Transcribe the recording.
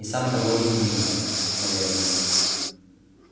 и сам того не понимает наверное